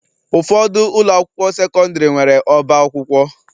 Ụfọdụ ụlọ akwụkwọ sekọndrị nwere ọbá akwụkwọ.